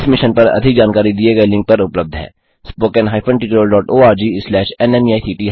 इस मिशन पर अधिक जानकारी दिए गए लिंक पर उपलब्ध है httpspoken tutorialorgNMEICT Intro